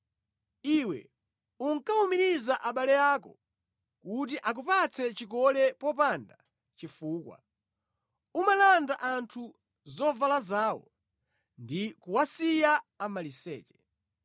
Iwe unkawumiriza abale ako kuti akupatse chikole popanda chifukwa; umalanda anthu zovala zawo ndi kuwasiya amaliseche.